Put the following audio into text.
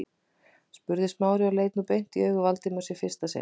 spurði Smári og leit nú beint í augu Valdimars í fyrsta sinn.